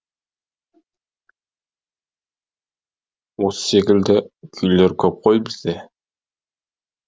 осы секілді күйлер көп қой бізде